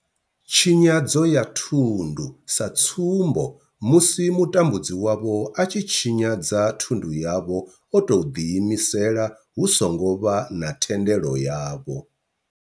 Tshinyadzo ya thundu, sa tsumbo, musi mutambudzi wavho a tshi tshinyadza thundu yavho o tou ḓiimisela hu songo vha na thendelo yavho.